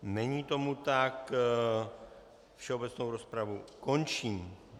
Není tomu tak, všeobecnou rozpravu končím.